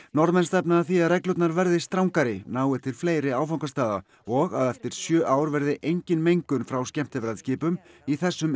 Norðmenn stefna að því að reglurnar verði strangari nái til fleiri áfangastaða og að eftir sjö ár verði engin mengun frá skemmtiferðaskipum í þessum